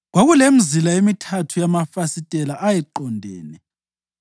Kwakulemizila emithathu yamafasitela, ayeqondene.